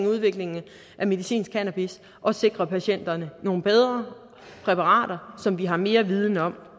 udviklingen af medicinsk cannabis og sikre patienterne nogle bedre præparater som vi har mere viden om